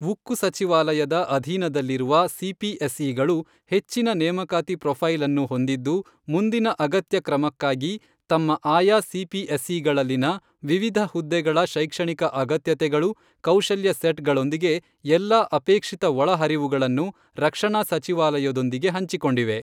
ಉಕ್ಕು ಸಚಿವಾಲಯದ ಅಧೀನದಲ್ಲಿರುವ ಸಿಪಿಎಸ್ಇಗಳು ಹೆಚ್ಚಿನ ನೇಮಕಾತಿ ಪ್ರೊಫೈಲ್ ಅನ್ನು ಹೊಂದಿದ್ದು, ಮುಂದಿನ ಅಗತ್ಯ ಕ್ರಮಕ್ಕಾಗಿ ತಮ್ಮ ಆಯಾ ಸಿಪಿಎಸ್ಇಗಳಲ್ಲಿನ ವಿವಿಧ ಹುದ್ದೆಗಳ ಶೈಕ್ಷಣಿಕ ಅಗತ್ಯತೆಗಳು ಕೌಶಲ್ಯ ಸೆಟ್ಗಳೊಂದಿಗೆ ಎಲ್ಲಾ ಅಪೇಕ್ಷಿತ ಒಳಹರಿವುಗಳನ್ನು ರಕ್ಷಣಾ ಸಚಿವಾಲಯದೊಂದಿಗೆ ಹಂಚಿಕೊಂಡಿವೆ.